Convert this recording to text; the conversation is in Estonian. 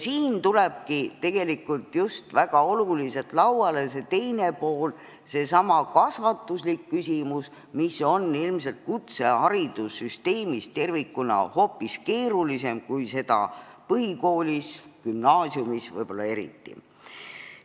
Siin tulebki väga oluliselt lauale see teine pool, seesama kasvatuse küsimus, mis on ilmselt kutseharidussüsteemis tervikuna hoopis keerulisem kui põhikoolis ja võib-olla eriti gümnaasiumis.